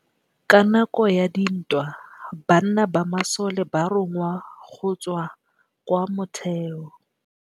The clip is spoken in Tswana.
Ka nakô ya dintwa banna ba masole ba rongwa go tswa kwa mothêô.